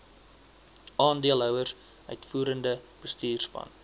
aandeelhouers uitvoerende bestuurspan